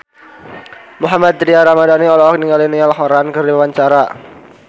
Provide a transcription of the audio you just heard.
Mohammad Tria Ramadhani olohok ningali Niall Horran keur diwawancara